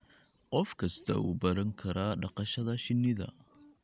Qof kastaa wuu baran karaa dhaqashada shinnida.